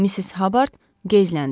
Missis Habard geyzləndi.